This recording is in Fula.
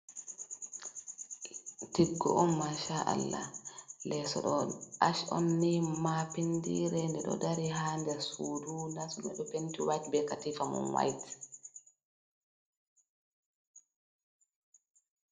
Tiggo on masha Allah leso ɗo ash on ni mapindire nde ɗo dari ha nder sudu leso mai ɗo penti wayit be katifa mun wayit.